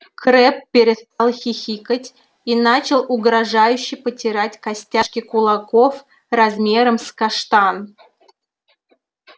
крэбб перестал хихикать и начал угрожающе потирать костяшки кулаков размером с каштан